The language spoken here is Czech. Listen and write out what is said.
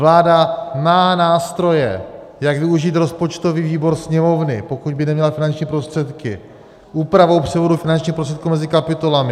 Vláda má nástroje, jak využít rozpočtový výbor Sněmovny, pokud by neměla finanční prostředky, úpravou převodu finančních prostředků mezi kapitolami.